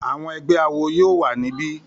Àwọn ẹgbẹ́ awo yóò wà ní bí